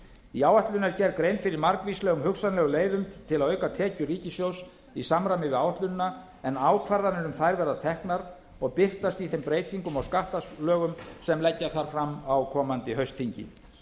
í áætlun er gerð grein fyrir margvíslegum hugsanlegum leiðum til að auka tekjur ríkissjóðs í samræmi við áætlunina en ákvarðanir um þær verða teknar og birtast í þeim breytingum á skattalögum sem leggja þarf fram á komandi haustþingi